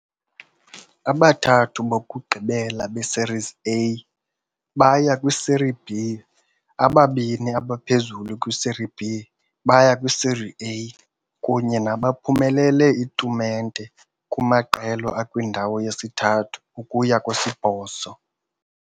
Abathathu bokugqibela beSerie A baya kwiSerie B. Ababini abaphezulu kwiSerie B baya kwiSerie A, kunye nabaphumelele itumente kumaqela akwindawo yesithathu ukuya kwesibhozo.